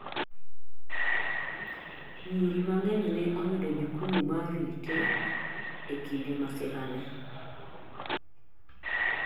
nyiri mang'eny ne oyudo jukumu ma rit e kinde masira ni